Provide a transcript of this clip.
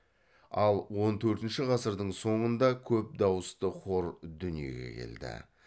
ал он төртінші ғасырдың соңында көп дауысты хор дүниеге келді